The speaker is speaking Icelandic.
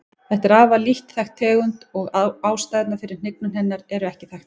Þetta er afar lítt þekkt tegund og ástæðurnar fyrir hnignun hennar eru ekki þekktar.